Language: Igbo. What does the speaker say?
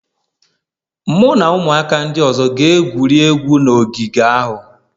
Mụ na ụmụaka ndị ọzọ ga-egwuri egwu na ogige ahụ